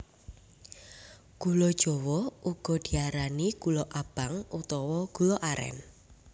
Gula jawa uga diarani gula abang utawa gula arén